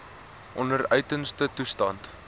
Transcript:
onder uiterste toestande